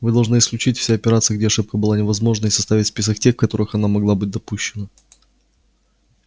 вы должны исключить все операции где ошибка была невозможна и составить список тех в которых она могла быть допущена